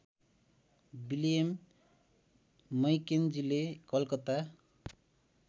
William मैकेन्जीले कलकत्ता